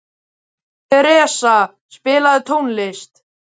Theresa, spilaðu tónlist.